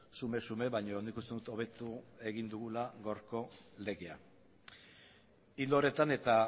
xume xume baino nik uste dut hobetu egin dugula gaurko legea ildo horretan eta